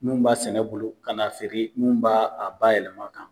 Mun b'a sɛnɛ bolo ka na feere mun b'a a yɛlɛma kan